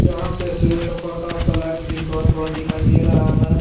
यहां पे सूर्य का प्रकाश का लाइट भी थोड़ा थोड़ा दिखाई दे रहा है ।